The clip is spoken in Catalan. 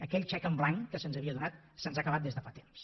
aquell xec en blanc que se’ns havia donat se’ns ha acabat des de fa temps